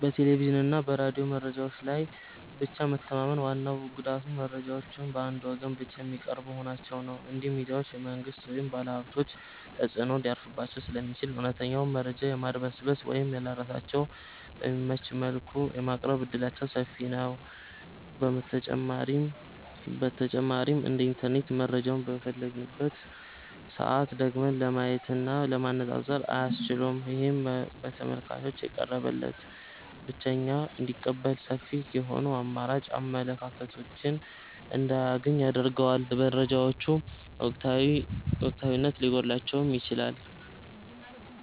በቴሌቪዥንና በሬዲዮ መረጃዎች ላይ ብቻ መተማመን ዋናው ጉዳቱ መረጃዎቹ በአንድ ወገን ብቻ የሚቀርቡ መሆናቸው ነው። እነዚህ ሚዲያዎች የመንግሥት ወይም የባለሀብቶች ተጽዕኖ ሊያርፍባቸው ስለሚችል፣ እውነተኛውን መረጃ የማድበስበስ ወይም ለራሳቸው በሚመች መልኩ የማቅረብ ዕድላቸው ሰፊ ነው። በተጨማሪም እንደ ኢንተርኔት መረጃውን በፈለግንበት ሰዓት ደግመን ለማየትና ለማነፃፀር አያስችሉም። ይህም ተመልካቹ የቀረበለትን ብቻ እንዲቀበልና ሰፊ የሆኑ አማራጭ አመለካከቶችን እንዳያገኝ ያደርገዋል። መረጃዎቹ ወቅታዊነት ሊጎድላቸውም ይችላል።